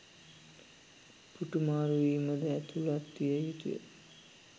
පුටු මාරුවීම ද ඇතුලත්විය යුතුය.